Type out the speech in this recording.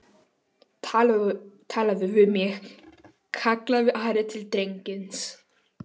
talaðu við mig, kallaði Ari til drengsins.